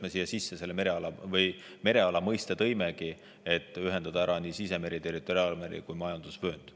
Me tõimegi mereala mõiste siia sisse selleks, et ühendada ära sisemeri, territoriaalmeri ja majandusvöönd.